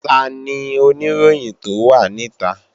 Tani Oníròyìn tó wà níta?